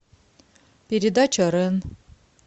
передача рен